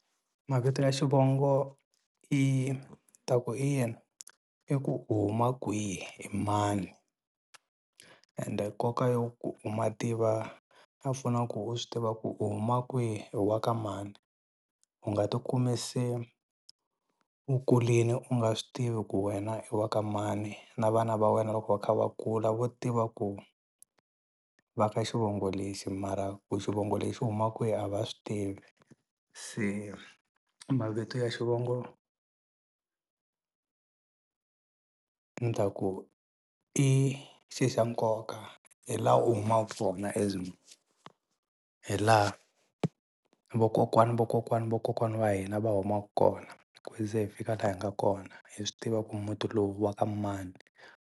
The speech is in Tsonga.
Mavito ya xivongo i ta ku i yini i ku u huma kwihi i mani ende nkoka yo ku u ma tiva a fanele ku u swi tiva ku u huma kwihi u wa ka mani u nga tikumi se u kulini u nga swi tivi ku wena i wa ka mani na vana va wena loko va kha va kula vo tiva ku va ka xivongo lexi mara ku xivongo lexi xi humaka kwihi a va swi tivi se mavito ya xivongo ni ta ku ku i xi xa nkoka hi la u humaku kona as munhu hi laha vakokwani vakokwani vakokwani va hina va humaka kona ku ze hi fika laha hi nga kona hi swi tiva ku muti lowu wa ka mani.